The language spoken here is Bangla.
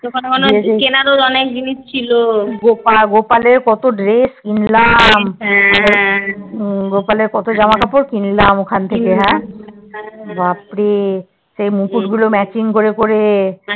ওখানে মনে হয় কেনার ও অনেক জিনিস ছিল গোপা গোপাল এর কত Dress কিনলাম গোপাল এর কত জামাকাপড় কিনলাম ওখান থেকে হ্যা বাপরে সেই মুকুটগুলো Matching করে করে